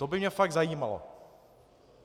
To by mě fakt zajímalo.